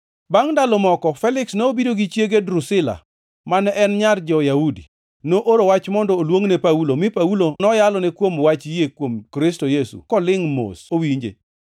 Bangʼ ndalo moko, Feliks nobiro gi chiege Drusila, mane en nyar jo-Yahudi. Nooro wach mondo oluongne Paulo, mi Paulo noyalone kuom wach yie kuom Kristo Yesu kolingʼ mos owinje.